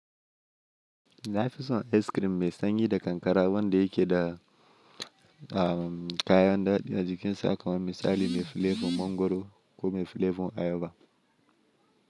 Na fi son ice cream mai sanyi da kankara wanda yake da kayan ɗaɗi a jikin sa kamar misali mai flavour mangoro ko mai flavour ayaba.